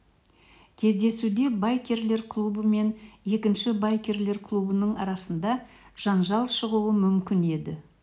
кездесуде байкерлер клубы мен екінші байкерлер клубының арасында жанжал шығуы мүмкін еді